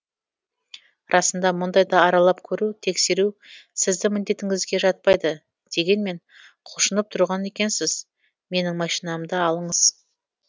расында мұндайда аралап көру тексеру сіздің міндетіңізге жатпайды дегенмен құлшынып тұрған екенсіз менің машинамды алыңыз